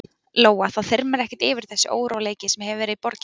Lóa: Það þyrmir ekkert yfir þig þessi óróleiki sem hefur verið í borginni?